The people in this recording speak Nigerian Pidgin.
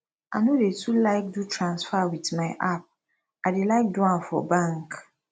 i no dey too like do transfer with my app i dey like do am for bank